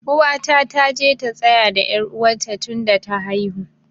Uwata ta je ta tsaya da er uwa ta tun da ta haihu.